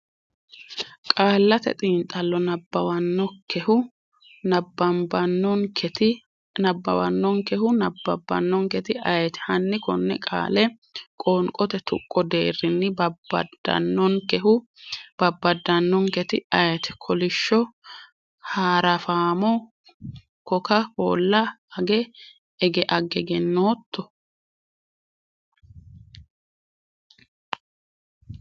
Qaallate Xiinxallo nabbawannonkehu nabbabbannonketi ayeeti? Hanni konne qaale qoonqote tuqqo deerrinni babbadannonkehu babbaddannonkketi ayeete? kolisho haarafamo koka kola age egenotto?